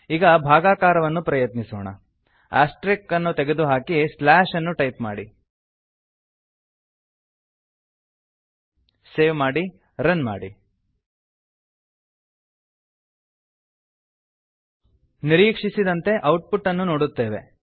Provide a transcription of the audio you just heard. ಈಗ ಭಾಗಾಕಾರವನ್ನು ಪ್ರಯತ್ನಿಸೋಣ ಆಸ್ಟೆರಿಕ್ ಅನ್ನು ತೆಗೆದು ಸ್ಲ್ಯಾಶ್ ಅನ್ನು ಟೈಪ್ ಮಾಡಿ ಸೇವ್ ಮಾಡಿ ರನ್ ಮಾಡಿ ನಿರೀಕ್ಷಿಸಿದಂತೆ ಔಟ್ ಪುಟ್ಅನ್ನು ನೋಡುತ್ತೇವೆ